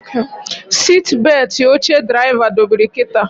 Sitbetị oche draịva dobiri kịta